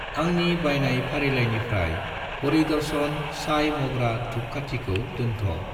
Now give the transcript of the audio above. आंनि बायनाय फारिलाइनिफ्राय हरि दर्शन साइ‌ मग्रा धुपखाथिखौ दोनथ'।